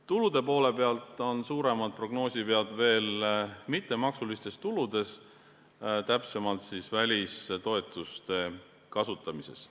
Tulude poole pealt on suuremad prognoosivead veel mittemaksulistes tuludes, täpsemalt välistoetuste kasutamises.